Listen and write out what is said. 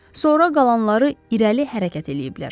Sonra qalanları irəli hərəkət eləyiblər.